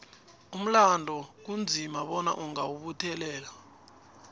umlando kunzima bona ungawubuthelela